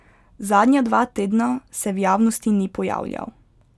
Zadnja dva tedna se v javnosti ni pojavljal.